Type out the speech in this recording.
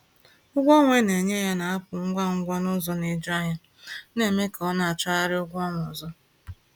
Ego ọnwa a na-enye ya na-apụ ngwa ngwa n’ụzọ na-eju anya, na-eme ka ọ na-achọgharị ụgwọ ọnwa ọzọ.